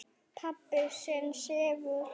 Pabbi þinn sefur.